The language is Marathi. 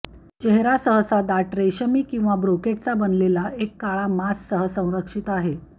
चेहरा सहसा दाट रेशीम किंवा ब्रोकेडचा बनलेला एक काळा मास्क सह संरक्षित आहे